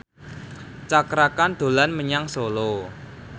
Cakra Khan dolan menyang Solo